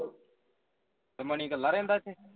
ਮਣੀ ਕਲਾ ਰਹਿੰਦਾ ਇੱਥੇ